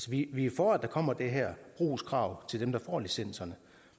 vi er for at der kommer det her brugskrav til dem der får licenserne